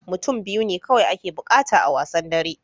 Mutum biyu ne kawai ake buƙata a wasan dara